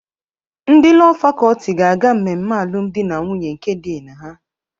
Ndị Lọọ Fakọlti ga-aga mmemme alụmdi na nwunye nke Doing her.